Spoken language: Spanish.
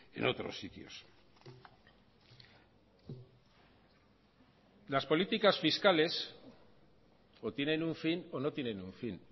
en otros sitios las políticas fiscales o tienen un fin o no tienen un fin